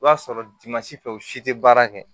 I b'a sɔrɔ fɛ u si tɛ baara kɛ